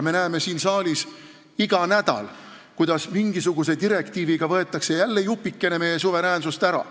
Me näeme siin saalis iga nädal, kuidas mingisuguse direktiiviga võetakse jälle jupikene meie suveräänsusest ära.